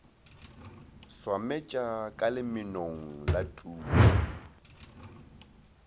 swametša ka lemenong la tuku